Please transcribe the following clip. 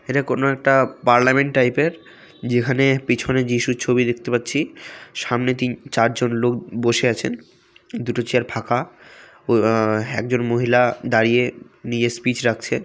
এটা কোন একটা পার্লামেন্ট টাইপ -এর যেখানে পিছনে যীশুর ছবি দেখতে পাচ্ছি সামনে তিন চারজন লোক ব-বসে আছেনদুটো চেয়ার ফাঁকা ঐই আ আ একজন মহিলা দাঁড়িয়ে নিজের স্পিচ রাখছে।